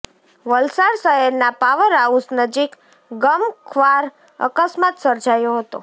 વલસાડઃ શહેરના power house નજીક ગમખ્વાર અકસ્માત સર્જાયો હતો